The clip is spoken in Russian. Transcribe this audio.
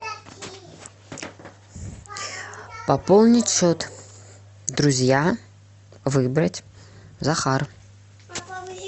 пополнить счет друзья выбрать захар